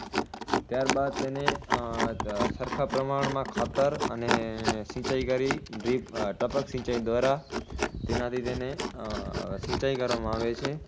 ત્યારબાદ તેને ઉહ સરખા પ્રમાણમાં ખાતર અને સિંચાઇ કરી drip ટપક સિંચાઇ દ્વારા તેનાથી તેને સિંચાઇ કરવામાં આવે છે